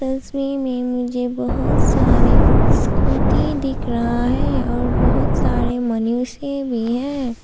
तस्वीर में मुझे बहुत सारे स्कूटी दिख रहा है और बहुत सारे मनुष्य भी हैं।